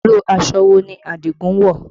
Irú aṣọ wo ni Adigun wọ̀?